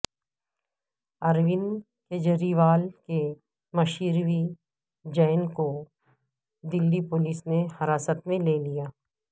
اروند کیجریوال کے مشیر وی جین کو دلی پولیس نے حراست میں لیا